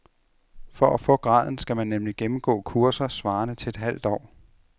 For at få graden skal man nemlig gennemgå kurser svarende til et halvt år.